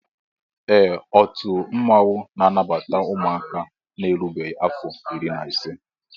Ee ọtu mmanwụ na-anabata ụmụaka na-erubeghi afọ irí na ise